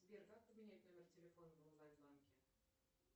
сбер как поменять номер телефона в онлайн банке